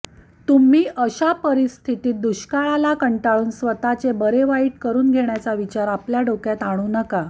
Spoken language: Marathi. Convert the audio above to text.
तुम्ही अशा परिस्थितीत दुष्काळाला कंटाळून स्वतःचे बरेवाईट करून घेण्याचा विचार आपल्या डोक्यात आणू नका